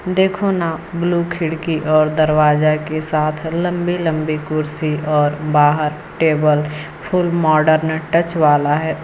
देखो ना ब्लू खिड़की और दरवाजा के साथ लंबी लंबी कुर्सी और बाहर टेबल फुल मॉडर्न टच वाला है।